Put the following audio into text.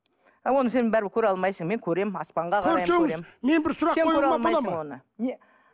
а оны сен бірібір көре алмайсың мен көремін аспанға қарай көрсеңіз мен бір сұрақ